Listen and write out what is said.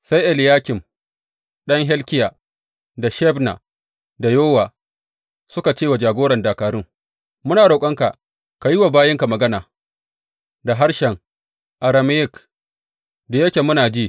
Sai Eliyakim ɗan Hilkiya, da Shebna, da Yowa suka ce wa jagoran dakarun, Muna roƙonka ka yi wa bayinka magana da harshen Arameyik da yake muna ji.